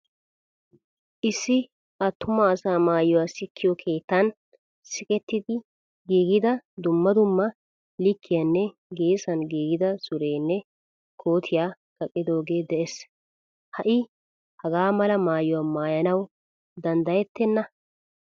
Issi attumaa asa maayuwaa sikkiyo keettan sikketi giigida dumma dumma likkiyanne geesan giigida suureene kootiyaa kaqidoge de'ees. Ha'i hagaamala maayuwaa maayanawu danddayettena.